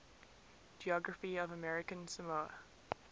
geography of american samoa